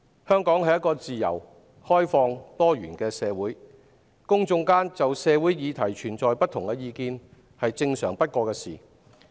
香港是一個自由、開放、多元的社會，公眾就社會議題存在不同意見是正常不過的事。